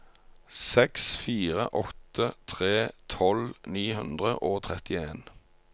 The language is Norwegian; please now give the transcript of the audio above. seks fire åtte tre tolv ni hundre og trettien